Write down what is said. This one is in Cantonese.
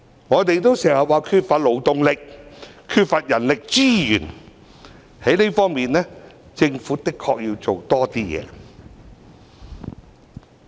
我們經常說缺乏勞動力、缺乏人力資源，政府的確需要在這方面多做一些工夫。